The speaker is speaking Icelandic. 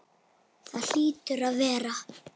Það hlýtur að vera.